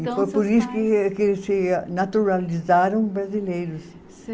E foi por isso que, que eles se naturalizaram brasileiros.